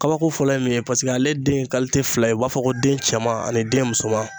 Kabako fɔlɔ ye min ye paseke ale den ye fila ye u b'a fɔ ko den cɛman ani den musoman.